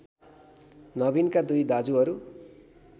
नबिनका २ दाजुहरू